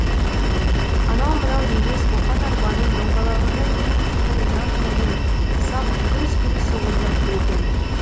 анау мынау емес қоқан арбаның доңғалағындай көк темір жан тәнін сап гүрс гүрс соғып жатыр екен